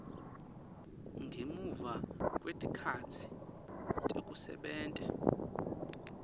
ngemuva kwetikhatsi tekusebenta